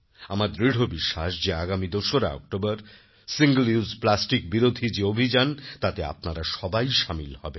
আমার দৃঢ় বিশ্বাস যে আগামী ২ অক্টোবর সিঙ্গল উসে Plasticবিরোধী যে অভিযান তাতে আপনারা সবাই সামিল হবেন